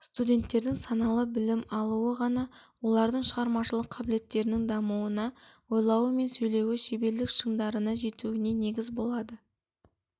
студенттердің саналы білім алуы ғана олардың шығармашылық қабілеттерінің дамуына ойлауы мен сөйлеуі шеберлік шыңдарына жетуіне негіз болады